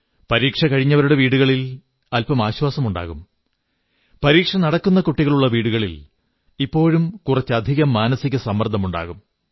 പരീക്ഷ കഴിഞ്ഞവരുടെ വീടുകളിൽ അല്പം ആശ്വാസമുണ്ടാകും പരീക്ഷ നടക്കുന്ന കുട്ടികളുള്ള വീടുകളിൽ ഇപ്പോഴും കുറച്ചധികം മാനസിക സമ്മർദ്ദമുണ്ടാകും